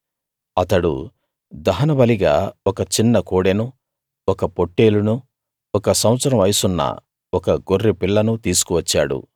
అతడు దహనబలిగా ఒక చిన్న కోడెనూ ఒక పొట్టేలునూ ఒక సంవత్సరం వయసున్న ఒక గొర్రెపిల్లనూ తీసుకు వచ్చాడు